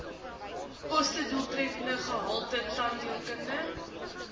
kostedoeltreffende gehalte tandheelkunde